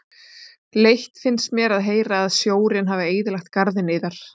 Leitt finnst mér að heyra að sjórinn hafi eyðilagt garðinn yðar.